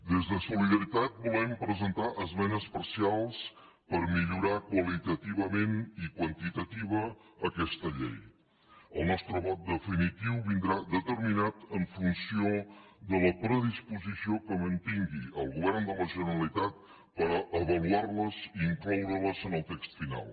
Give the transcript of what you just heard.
des de solidaritat volem presentar esmenes parcials per millorar qualitativament i quantitativa aquesta llei el nostre vot definitiu vindrà determinat en funció de la predisposició que mantingui el govern de la generalitat per avaluar les i incloure les en el text final